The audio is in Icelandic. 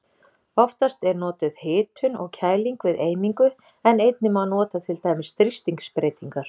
Oftast er notuð hitun og kæling við eimingu en einnig má nota til dæmis þrýstingsbreytingar.